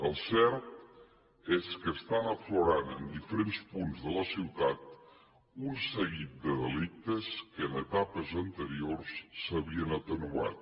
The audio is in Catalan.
el cert és que estan aflorant en diferents punts de la ciutat un seguit de delictes que en etapes anteriors s’havien atenuat